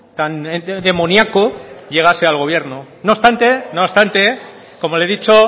tan demoniaco llegase al gobierno no obstante no obstante como le he dicho